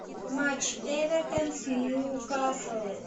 матч эвертон с ньюкасл